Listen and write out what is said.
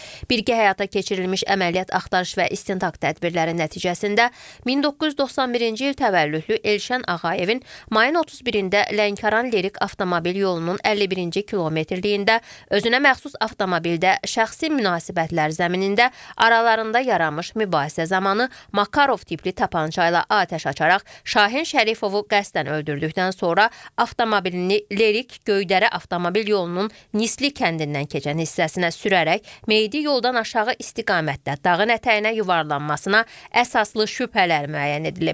Birgə həyata keçirilmiş əməliyyat axtarış və istintaq tədbirləri nəticəsində 1991-ci il təvəllüdlü Elşən Ağayevin mayın 31-də Lənkəran-Lerik avtomobil yolunun 51-ci kilometrliyində özünə məxsus avtomobildə şəxsi münasibətlər zəminində aralarında yaranmış mübahisə zamanı Makarov tipli tapança ilə atəş açaraq Şahin Şərifovu qəsdən öldürdükdən sonra avtomobilini Lerik Göydərə avtomobil yolunun Nisli kəndindən keçən hissəsinə sürərək meydi yoldan aşağı istiqamətdə dağın ətəyinə yuvarlanmasına əsaslı şübhələr müəyyən edilib.